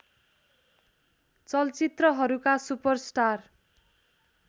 चलचित्रहरूका super star